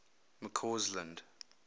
mccausland